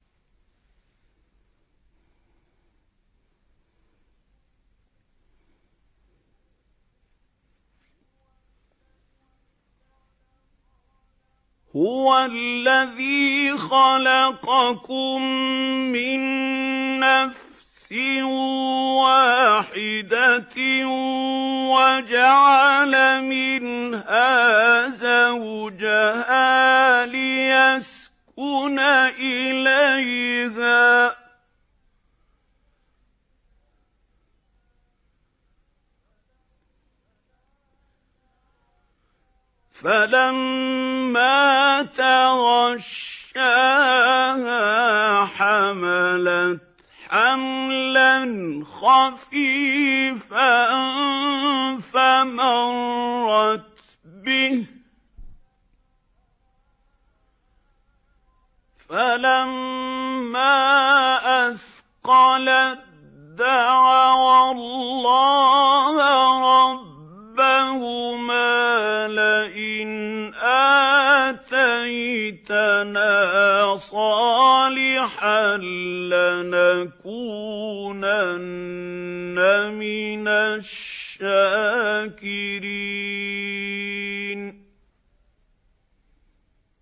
۞ هُوَ الَّذِي خَلَقَكُم مِّن نَّفْسٍ وَاحِدَةٍ وَجَعَلَ مِنْهَا زَوْجَهَا لِيَسْكُنَ إِلَيْهَا ۖ فَلَمَّا تَغَشَّاهَا حَمَلَتْ حَمْلًا خَفِيفًا فَمَرَّتْ بِهِ ۖ فَلَمَّا أَثْقَلَت دَّعَوَا اللَّهَ رَبَّهُمَا لَئِنْ آتَيْتَنَا صَالِحًا لَّنَكُونَنَّ مِنَ الشَّاكِرِينَ